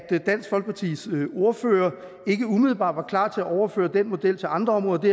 dansk folkepartis ordfører ikke umiddelbart var klar til at overføre den model til andre områder og